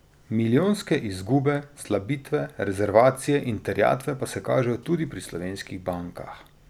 Milijonske izgube, slabitve, rezervacije in terjatve pa se kažejo tudi pri slovenskih bankah.